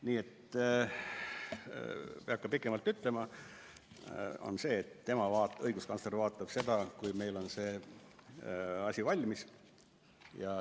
Nii et ma ei hakka pikemalt rääkima, aga ütlen, et õiguskantsler vaatab seda siis, kui meil on see asi valmis.